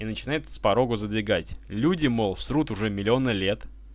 и начинает с порога задвигать люди мол срут уже миллионы лет